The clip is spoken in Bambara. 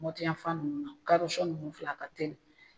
Mɔti yafan nunnu kadɔ fɛn munnu filɛ a ka teli.